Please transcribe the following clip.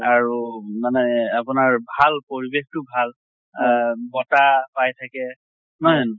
আৰু মানে আপোনাৰ ভাল পৰিবেশ টো ভাল। আহ বতাহ পাই থাকে,